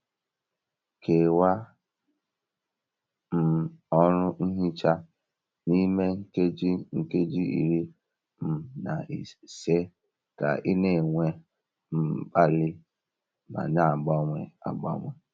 Kewaa um ọrụ nhicha n'ime nkeji nkeji iri um na ise ka ị na-enwe um mkpali ma na-agbanwe agbanwe.